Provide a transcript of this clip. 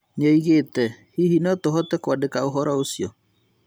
Nĩoigĩte " hihi notũhote kwandĩka ũhoro ũcio?"